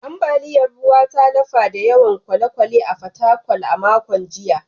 Ambaliyar ruwan ta lafa da yawan kwale-kwale a Fatakwal a makon jiya